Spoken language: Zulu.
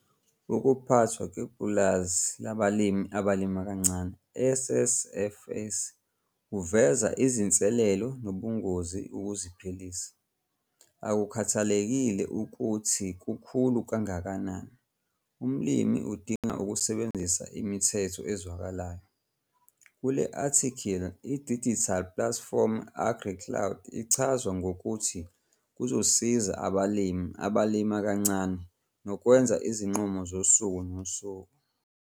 UKUPHATHWA KWEPULAZI LABALIMI ABALIMA KANCANE, SSF'S, KUVEZA IZINSELELO NOBUNGOZI UKUZIPHILISA. AKUKHATHALEKILE UKUTHI KUKHULU KANGAKANANI, UMLIMI UDINGA UKUSEBENZISA IMITHETHO EZWAKALAYO. KULE-ATHIKHILI I-DIGITAL PLATFORM AGRICLOUD ICHAZWA NGOKUTHI KUZOSIZA ABALIMI ABALIMA KANCANE NOKWENZA IZINQUMO ZOSUKU NOSUKU.